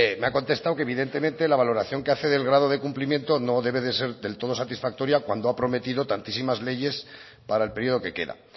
me ha contestado que evidentemente la valoración que hace del grado de cumplimiento no debe de ser del todo satisfactoria cuando ha prometido tantísimas leyes para el periodo que queda